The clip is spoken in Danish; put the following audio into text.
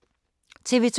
TV 2